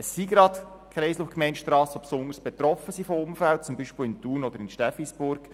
Es sind gerade die Gemeindestrassen, die von Unfällen besonders betroffen sind, zum Beispiel in Thun oder in Steffisburg.